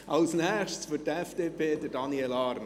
Als Nächster für die FDP: Daniel Arn.